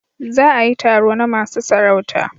Za a yi taro na masu sarauta